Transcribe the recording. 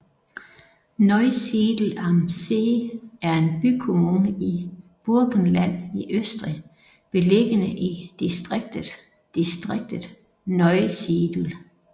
Neusiedl am See er en bykommune i Burgenland i Østrig beliggende i distriktet distriktet Neusiedl